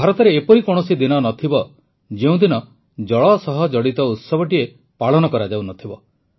ଭାରତରେ ଏପରି କୌଣସି ଦିନ ନଥିବ ଯେଉଁ ଦିନ ଜଳ ସହ ଜଡ଼ିତ ଉତ୍ସବଟିଏ ପାଳନ କରାଯାଉନଥିବ